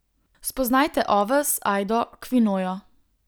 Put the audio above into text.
Spoznajte oves, ajdo, kvinojo.